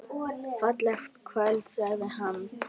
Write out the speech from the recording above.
Fallegt kvöld sagði hann.